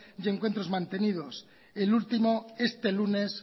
y encuentros mantenidos el último este lunes